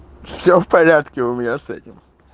все в порядке у меня с этим